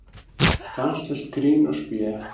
Stanslaust grín og spé.